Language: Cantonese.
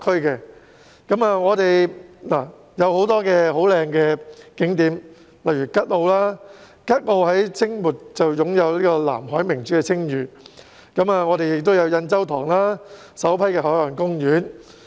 附近有很多美麗的景點，例如吉澳，吉澳在清末擁有"南海明珠"的稱譽，還有印洲塘，是本港首批海岸公園。